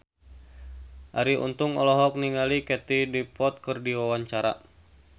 Arie Untung olohok ningali Katie Dippold keur diwawancara